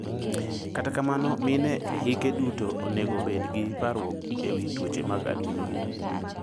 Kata kamano mine ehike duto onego bed gi parruok ewi tuoche mag adundo.